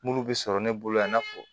Minnu bɛ sɔrɔ ne bolo yan n'a fɔ